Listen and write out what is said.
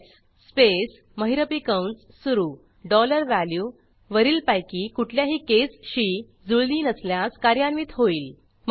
else space महिरपी कंस सुरू डॉलर वॅल्यू वरीलपैकी कुठल्याही केसशी जुळली नसल्यास कार्यान्वित होईल